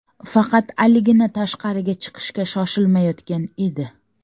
Faqat Aligina tashqariga chiqishga shoshilmayotgan edi.